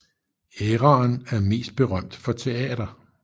Æraen er mest berømt for teater